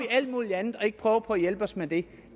alt muligt andet og ikke prøver at hjælpe os med det